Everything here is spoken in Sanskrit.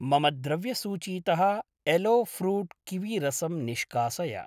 मम द्रव्यसूचीतः एलो फ्रूट् किवी रसं निष्कासय।